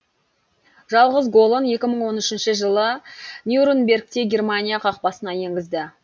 жалғыз голын екі мың он үшінші жылы нюрнбергте германия қақпасына енгізді